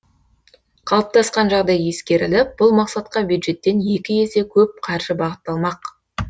қалыптасқан жағдай ескеріліп бұл мақсатқа бюджеттен екі есе көп қаржы бағытталмақ